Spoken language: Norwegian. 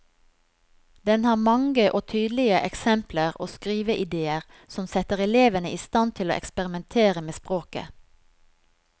Den har mange og tydelige eksempler og skriveidéer som setter elevene i stand til å eksperimentere med språket.